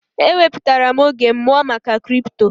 E wepụtara m oge m mụọ maka kripto.